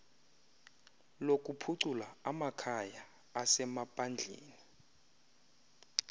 lokuphucula amakhaya asemaphandleni